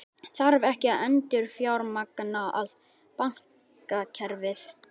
Þarf ekki að endurfjármagna allt bankakerfið?